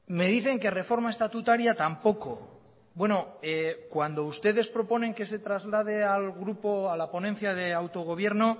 me dicen que reforma estatutaria tampoco cuando ustedes proponen que se traslade al grupo a la ponencia de autogobierno